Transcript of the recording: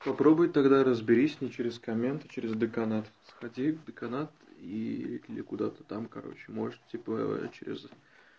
попробуй тогда разберись не через комменты через деканат сходи в деканат и или куда-то там короче можете типа через